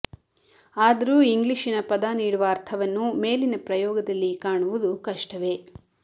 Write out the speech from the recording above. ಆದರೂ ಇಂಗ್ಲಿಶಿನ ಪದ ನೀಡುವ ಅರ್ಥವನ್ನು ಮೇಲಿನ ಪ್ರಯೋಗದಲ್ಲಿ ಕಾಣವುದು ಕಷ್ಟವೇ